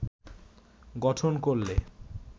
গঠন করলে